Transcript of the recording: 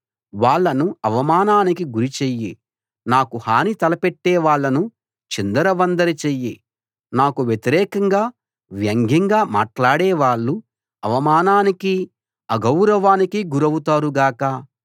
వాళ్ళను అవమానానికి గురి చెయ్యి నాకు హాని తలపెట్టే వాళ్ళను చిందరవందర చెయ్యి నాకు వ్యతిరేకంగా వ్యంగ్యంగా మాట్లాడేవాళ్ళు అవమానానికీ అగౌరవానికీ గురౌతారు గాక